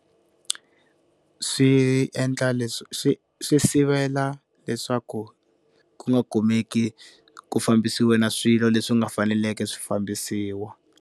Swi endla leswi swi swi sivela leswaku ku nga kumeki ku fambisiwa na swilo leswi nga faneleke swi fambisiwa.